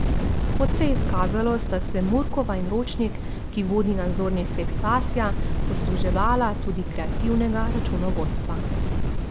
Kot se je izkazalo, sta se Murkova in Ročnik, ki vodi nadzorni svet Klasja, posluževala tudi kreativnega računovodstva.